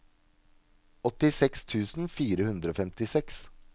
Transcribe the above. åttiseks tusen fire hundre og femtiseks